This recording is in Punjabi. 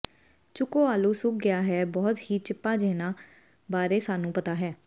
ਚੁਕੋ ਆਲੂ ਸੁੱਕ ਗਿਆ ਹੈ ਬਹੁਤ ਹੀ ਚਿੱਪਾਂ ਜਿਹਨਾਂ ਬਾਰੇ ਸਾਨੂੰ ਪਤਾ ਹੈ